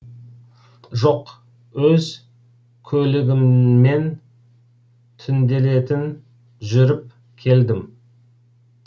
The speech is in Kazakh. жоқ өз көлігіммен түнделетіп жүріп келдім